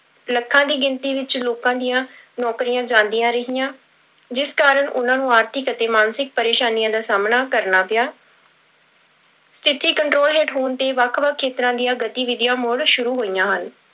ਲੱਖਾਂ ਦੀ ਗਿਣਤੀ ਵਿੱਚ ਲੋਕਾਂ ਦੀਆਂ ਨੌਕਰੀਆਂ ਜਾਂਦੀਆਂ ਰਹੀਆਂ, ਜਿਸ ਕਾਰਨ ਉਹਨਾਂ ਨੂੰ ਆਰਥਿਕ ਅਤੇ ਮਾਨਸਿਕ ਪਰੇਸਾਨੀਆਂ ਦਾ ਸਾਹਮਣਾ ਕਰਨਾ ਪਿਆ ਸਥਿੱਤੀ control ਹੇਠ ਹੋਣ ਤੇ ਵੱਖ ਵੱਖ ਖੇਤਰਾਂ ਦੀਆਂ ਗਤੀਵਿਧੀਆਂ ਮੁੜ ਸ਼ੁਰੂ ਹੋਈਆਂ ਹਨ।